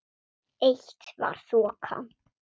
Eitt var þokan.